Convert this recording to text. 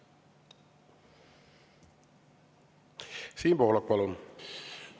Siim Pohlak, palun!